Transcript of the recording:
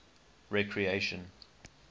recreation